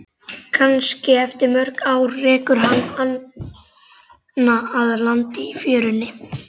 Kannski eftir mörg ár rekur hana að landi í fjörunni.